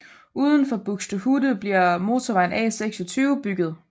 Uden for Buxtehude bliver motorvejen A26 bygget